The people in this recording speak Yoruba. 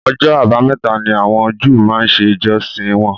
Ọjọ́ abámẹ́ta ni àwọn Júù máa ń ṣe ìjọsìn wọn